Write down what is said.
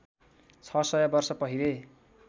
छ सय वर्ष पहिले